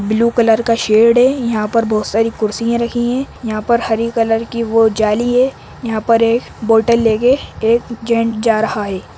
Blue colour का shade है यँहा पर बहोत सारी कुर्सियाँ रखी है यँहा पर हरे कलर की जाली है यहाँ पर एक बोटल लेके एक जैंट् जा रहा है।